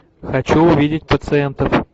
хочу увидеть пациентов